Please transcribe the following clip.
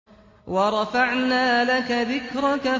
وَرَفَعْنَا لَكَ ذِكْرَكَ